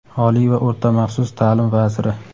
Oliy va o‘rta-maxsus ta’lim vaziri.